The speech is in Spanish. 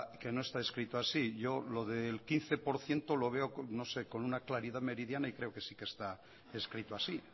que no está escrito así yo lo del quince por ciento lo veo con una claridad meridiana y creo que sí que está escrito así